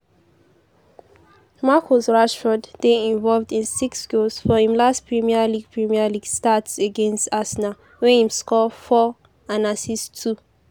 marcus rashford dey involved in six goals for im last premier league premier league starts against arsenal wia im score four and assist two.